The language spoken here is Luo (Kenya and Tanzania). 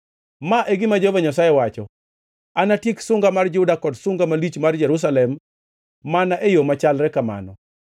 “Ma e gima Jehova Nyasaye wacho: ‘Anatiek sunga mar Juda kod sunga malich mar Jerusalem mana e yo machalre kamano.